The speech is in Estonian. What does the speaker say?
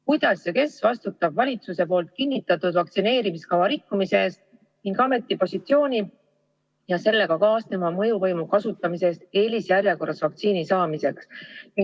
Kuidas ja kes vastutab valitsuse kinnitatud vaktsineerimiskava rikkumise eest ning ametipositsiooni ja sellega kaasneva mõjuvõimu kasutamise eest eelisjärjekorras vaktsiini saamiseks?